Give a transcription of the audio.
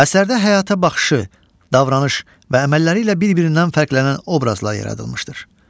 Əsərdə həyata baxışı, davranış və əməlləri ilə bir-birindən fərqlənən obrazlar yaradılmışdır.